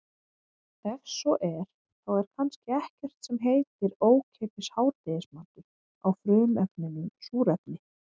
Ef svo er þá er kannski ekkert sem heitir ókeypis hádegismatur á frumefninu súrefni.